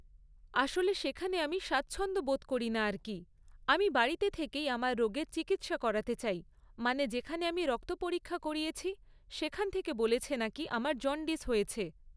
আসলে সেখানে আমি স্বাচ্ছন্দ্য বোধ করি না আর কী, আমি বাড়িতে থেকেই আমার রোগের চিকিৎসা করাতে চাই মানে যেখানে আমি রক্ত পরীক্ষা করিয়েছি সেখান থেকে বলেছে নাকি আমার জন্ডিস হয়েছে।